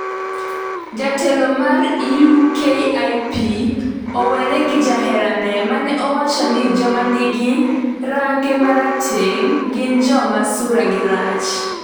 Jatelo mar UKIP owere gi jaherane mane owacho ni joma nigi range marateng' gin joma sura gi rach